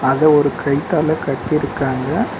அத ஒரு கயித்தாள கட்டி இருக்காங்க.